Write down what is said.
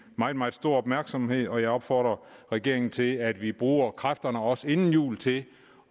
meget meget stor opmærksomhed og jeg opfordrer regeringen til at vi bruger kræfterne også inden jul til